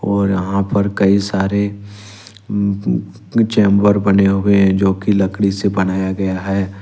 और यहां पर कई सारे उं चैंबर बने हुए हैं जो कि लकड़ी से बनाया गया है।